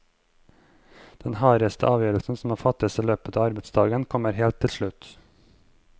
Den hardeste avgjørelsen som må fattes i løpet av arbeidsdagen, kommer helt til slutt.